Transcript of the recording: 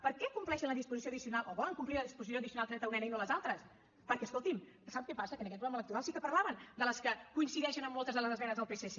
per què compleixen la disposició addicional o volen complir la disposició addicional trenta unena i no les altres perquè escolti’m sap què passa que en aquest programa electoral sí que parlaven de les que coincideixen amb moltes de les esmenes del psc